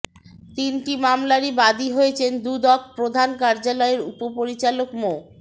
তিনটি মামলারই বাদী হয়েছেন দুদক প্রধান কার্যালয়ের উপপরিচালক মো